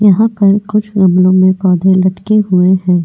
यहां पर कुछ गमलों में पौधे लटके हुए हैं.